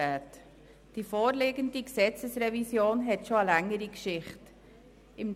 Die vorliegende Gesetzesrevision hat eine längere Geschichte hinter sich.